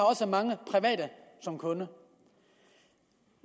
også har mange private som kunder